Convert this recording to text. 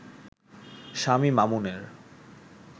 স্বামী মামুনের